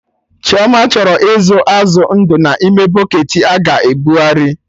Chioma chọrọ ịzụ azụ ndụ na ime bụcketị a ga-ebughari